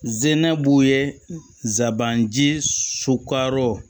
Zinɛ b'u ye zaban ji sukaro